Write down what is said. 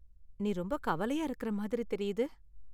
நீ ரொம்ப கவலையா இருக்கிற மாதிரி தெரியுது.